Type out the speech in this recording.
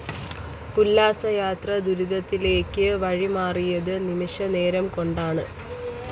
ഉല്ലാസയാത്ര ദുരന്തത്തിലേക്ക് വഴിമാറിയത് നിമിഷ നേരം കൊണ്ടാണ്